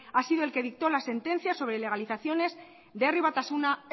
ha sido el que dictó las sentencias sobre ilegalizaciones de herri batasuna